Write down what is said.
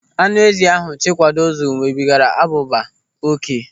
Anụ ezi ahụ Chikwado zụrụ nwebigaara abụba oké.